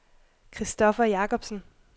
Kristoffer Jakobsen